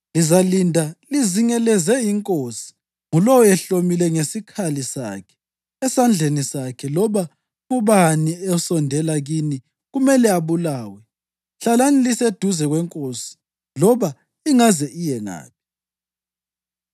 Lizalinda lizingelezele inkosi, ngulowo ehlomile ngesikhali sakhe esandleni sakhe. Loba ngubani osondela kini kumele abulawe. Hlalani liseduze kwenkosi loba ingaze iye ngaphi.”